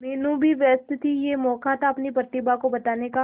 मीनू भी व्यस्त थी यह मौका था अपनी प्रतिभा को बताने का